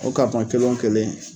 O kelen o kelen